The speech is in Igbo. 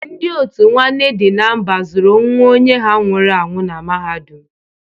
Ndị òtù Nwanne Dị na Mba zụrụ nwa onye ha nwụrụ anwụ na mahadum.